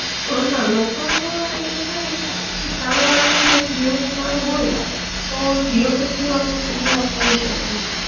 અ ના local call માટે પૈસા નઇ, પણ સામે વાળ ને જો જીઓ કાર્ડ હોય તો જીઓ તો જીઓ આપડે ફ્રી વાત કરી શકીએ